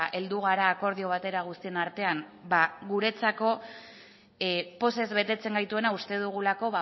heldu gara akordio batera guztion artean ba guretzako pozez betetzen gaituena uste dugulako